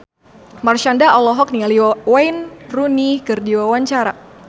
Marshanda olohok ningali Wayne Rooney keur diwawancara